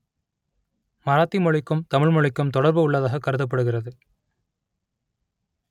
மராத்தி மொழிக்கும் தமிழ் மொழிக்கும் தொடர்பு உள்ளதாக கருதப்படுகிறது